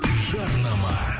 жарнама